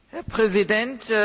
Herr Präsident!